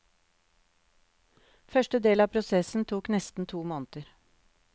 Første del av prosessen tok nesten to måneder.